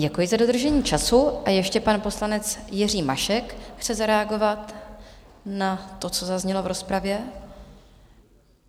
Děkuji za dodržení času a ještě pan poslanec Jiří Mašek chce zareagovat na to, co zaznělo v rozpravě.